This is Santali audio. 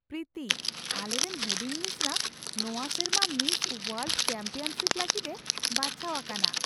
ᱯᱨᱤᱛᱤ ! ᱟᱞᱮᱨᱮᱱ ᱦᱩᱰᱤᱧ ᱢᱤᱥᱨᱟ ᱱᱚᱣᱟ ᱥᱮᱨᱢᱟ ᱢᱤᱥ ᱳᱣᱟᱨᱞᱰ ᱪᱮᱢᱯᱤᱭᱚᱱᱥᱤᱯ ᱞᱟᱹᱜᱤᱫᱼᱮ ᱵᱟᱪᱷᱟᱣ ᱟᱠᱟᱱᱟ !